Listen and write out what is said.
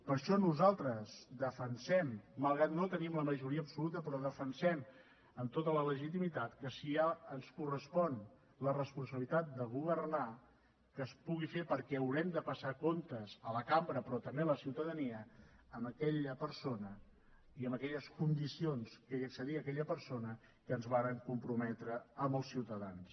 per això nosaltres defensem malgrat que no tenim la majoria absoluta però ho defensem amb tota la legitimitat que si ens correspon la responsabilitat de governar que es pugui fer perquè haurem de passar comptes a la cambra però també a la ciutadania amb aquella persona i amb aquelles condicions que hi accedia aquella persona amb què ens vàrem comprometre amb els ciutadans